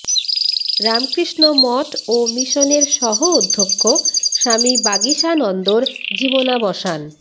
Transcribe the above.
রামকৃষ্ণ মঠ ও মিশনের সহ অধ্যক্ষ স্বামী বাগীশানন্দর জীবনাবসান